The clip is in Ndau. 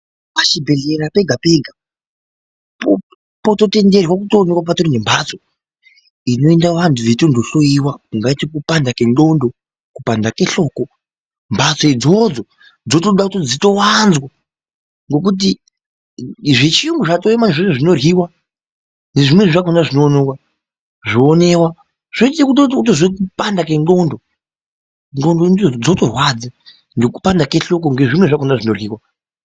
Pachibhedhlera pega pega, pototenderwa kuwanikwa patorinembatso inoenda vantu vechinohloyiwa ungati kupanda kwendxondo, kupanda kwehloko .Mbatso idzodzo dzotoda kuti dzitowanzwa ngokuti zvechiyungu zvinoryiwa, nezvimwezvakona zvinonomwiwa zvoita kuti utozwa kupanda kwendxondo, ndxondo ndidzo dzotorwadza ngekupanda kwehloko nezvimwe zvakona zvinoryiwa.